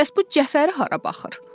Bəs bu cəfəri hara baxır?